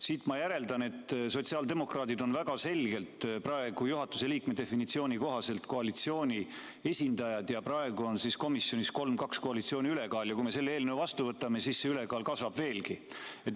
Siit ma järeldan, et sotsiaaldemokraadid on väga selgelt praegu juhatuse liikme definitsiooni kohaselt koalitsiooni esindajad, seega on komisjonis praegu 3 : 2 koalitsiooni ülekaal, ja kui me selle eelnõu vastu võtame, siis see ülekaal kasvab veelgi.